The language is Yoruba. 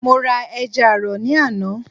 mo ra ẹja àrọ̀ ní àná.